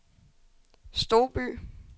Stouby